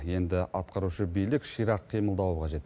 енді атқарушы билік ширақ қимылдауы қажет